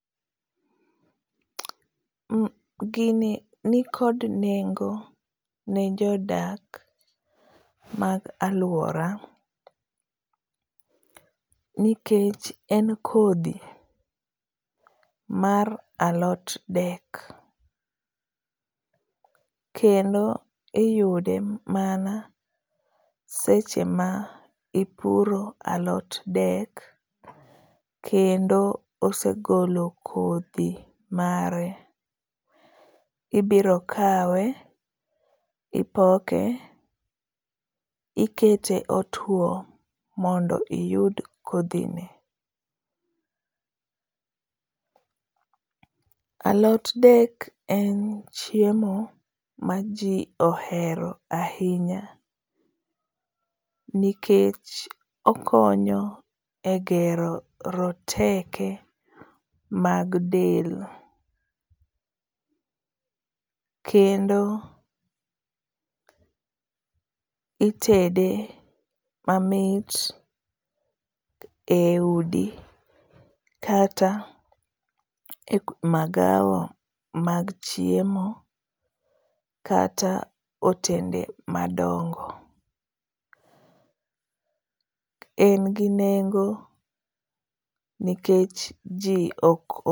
Gini nikod nengo ne jodak mag alwora nikech en kodhi mar alot dek, kendo iyude mana seche ma ipuro alot dek kendo osegolo kodhi mare, ibiro kawe ,ipoke ,ikete otuwo mondo iyud kodhine. Alot dek en chiemo ma ji ohero ahinya nikech okonyo e gero roteke mag del, kendo itede mamit e udi kata e magawa mag chiemo kata otende madongo. En gi nengo nikech ji ok.